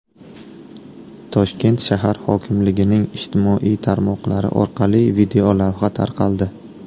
Toshkent shahar hokimligining ijtimoiy tarmoqlari orqali videolavha tarqaldi.